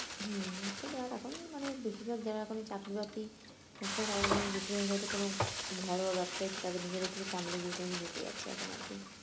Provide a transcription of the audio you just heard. হম সেইটাই আর এখন মানে বেশিরভাগ যারা এখন এই চাকরি বাকরি হচ্ছে না তাদের মনে বেশিরভাগই হয়তো কোনো ঘরোয়া ব্যাবসায়ী তাদের নিজেদের থেকে family business এ ঢুকে যাচ্ছে এখন